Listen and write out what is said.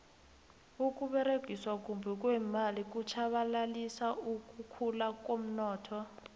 ukuberegiswa kumbi kweemali kutjhabalalisa ukukhula komnotho